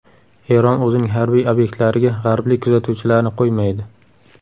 Eron o‘zining harbiy obyektlariga g‘arblik kuzatuvchilarni qo‘ymaydi.